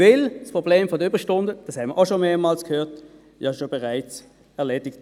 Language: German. Denn das Problem der Überstunden – wir haben es schon mehrmals gehört – ist bereits erledigt.